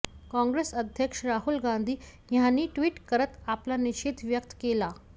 काँग्रेस अध्यक्ष राहुल गांधी यांनीही ट्वीट करत आपला निषेध व्यक्त केला